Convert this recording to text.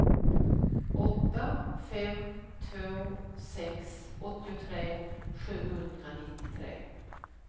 åtta fem två sex åttiotre sjuhundranittiotre